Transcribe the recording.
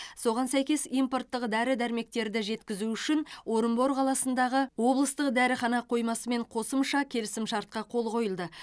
соған сәйкес импорттық дәрі дәрмектерді жеткізу үшін орынбор қаласындағы облыстық дәріхана қоймасымен қосымша келісімшартқа қол қойылды